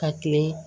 Ka kilen